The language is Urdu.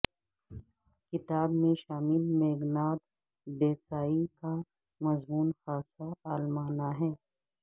کتاب میں شامل میگھناد ڈیسائی کا مضمون خاصا عالمانہ ہے